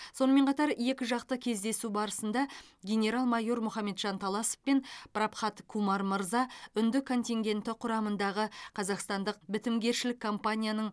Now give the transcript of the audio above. сонымен қатар екіжақты кездесу барысында генерал майор мұхамеджан таласов пен прабхат кумар мырза үнді контингенті құрамындағы қазақстандық бітімгершілік компанияның